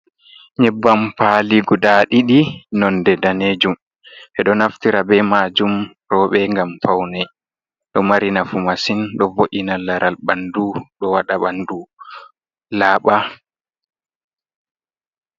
Nyebbam paali gudaa ɗiɗi, noone daneejum ɓe ɗo naftira bee maajum, roobe ngam fawne, ɗo mari nafu masin ɗo vo’ina laral ɓanndu ɗo waɗa ɓanndu laaɓa.